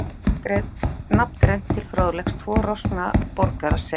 Við getum nafngreint til fróðleiks tvo roskna borgara, sem